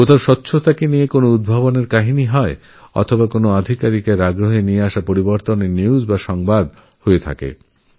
কোথাও স্বচ্ছতা নিয়ে ইনোভেশন এর ঘটনা থাকেআবার কোথাও কোনো আধিকারিকের কাজের প্রতি উৎসাহ নিউজ হয়ে যায়